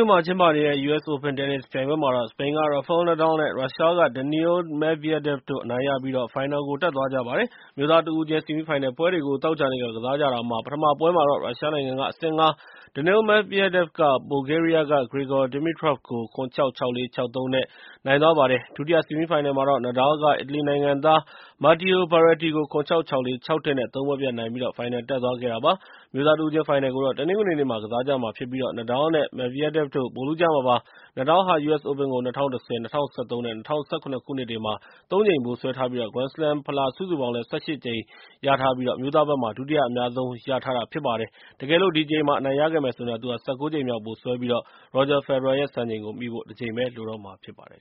ို့မှာ ကျင်းပနေတဲ့ U.S. OPEN တင်းနစ်ပြိုင်ပွဲမှာတော့ စပိန်က Rafael Nadal နဲ့ ရုရှားက Daniil Medvedev တို့ အနိုင်ရပြီး ဖိုင်နယ်တက်သွားပါတယ်။ အမျိုးသား တဦးချင်း ဆီမီးဖိုင်နယ်ပွဲတွေကို သောကြာနေ့ ကစားကြတာမှာ ပထမပွဲမှာတော့ ရုရှားနိုင်ငံက အဆင့် ၅ Daniil Medvedev က ဘူလ်ဂေးရီးယားက Grigor Dimitrov ကို ၇-၆၊ ၆-၄၊ ၆-၃ နဲ့ ၃ ပွဲပြတ် နိုင်သွားပါတယ်။ ဒုတိယ ဆီမီးဖိုင်နယ်မှာတော့ Nadal က အီတလီနိုင်ငံသား Matteo Berrettini ကို ၇-၆၊ ၆-၄၊ ၆-၁ နဲ့ ၃ ပွဲပြတ်နိုင်ပြီး ဖိုင်နယ်တက်သွားပါတယ်။ အမျိုးသားတဦးချင်း ဖိုင်နယ်ကိုတော့ တနင်္ဂနွေနေ့မှာ ကစားကြမှာဖြစ်ပြီး Rafael Nadal နဲ့ Daniil Medvedev တို့ ဗိုလ်လုကြမှာပါ။ Nadal ဟာ U.S. OPEN ကို ၂၀၁၀၊ ၂၀၁၃ နဲ့ ၂၀၁၇ ခုနှစ်တွေမှာ ၃ ကြိမ် ဗိုလ်စွဲထားပြီး ဂရန်းစလမ်းဖလား စုစုပေါင်း ၁၈ ကြိမ်နဲ့ အမျိုးသားဘက်မှာ ဒုတိယအများဆုံး ရထားပါတယ်။ တကယ်လို့သာ ဒီတကြိမ် အနိုင်ရခဲ့မယ်ဆိုရင်တော့ သူဟာ ၁၉ ကြိမ်မြောက် ဗိုလ်စွဲပြီး ရော်ဂျာဖယ်ဒရာရဲ့ စံချိန်ကိုမီဖို့ ၁ ကြိမ်ပဲ လိုတော့မှာဖြစ်ပါတယ်